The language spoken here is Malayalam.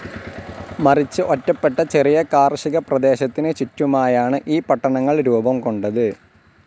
മറിച്ച് ഒറ്റപ്പെട്ട ചെറിയ കാർഷികപ്രദേശത്തിനു ചുറ്റുമായാണ്‌ ഈ പട്ടണങ്ങൾ രൂപം കൊണ്ടത്.